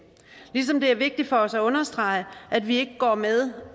ligesom det er vigtigt for os at understrege at vi ikke går med